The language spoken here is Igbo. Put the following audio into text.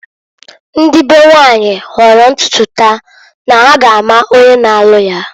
Ndị be nwanyị hooro ntutu taa na ha ga ama onye na-alụ ya.